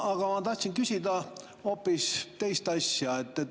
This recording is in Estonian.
Aga ma tahtsin küsida hoopis teist asja.